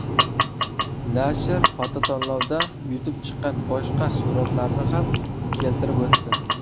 Nashr fototanlovda yutib chiqqan boshqa suratlarni ham keltirib o‘tdi.